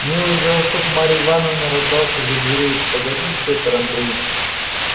милый голосок марьи ивановны раздался из-за дверей погоди пётр андреич